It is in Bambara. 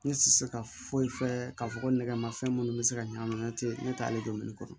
Ne tɛ se ka foyi fɛ k'a fɔ ko nɛgɛ ma fɛn minnu bɛ se ka ɲagami ne tɛ ne ta ale dɔn ne kɔrɔ